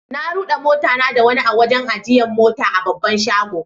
Na rude mota na da wani a'wajen ajiyan mota a babban shagon.